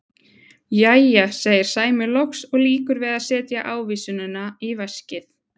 Jæja, segir Sæmi loks og lýkur við að setja ávísunina í veskið.